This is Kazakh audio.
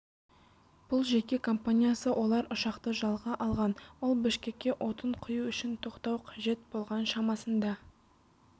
бұл жеке компаниясы олар ұшақты жалға алған ол бішкекке отын құю үшін тоқтау қажет болған шамасында